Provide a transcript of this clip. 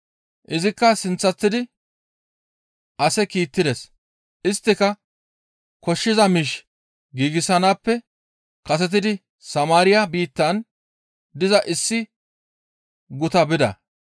Izikka sinththasidi ase kiittides; isttika koshshiza miish giigsanaappe kasetidi Samaariya biittan diza issi guta bida.